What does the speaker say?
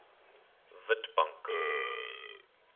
witbank